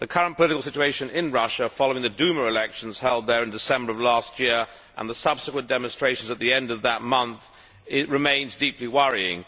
The current political situation in Russia, following the Duma elections held there in December of last year and the subsequent demonstrations at the end of that month, remains deeply worrying.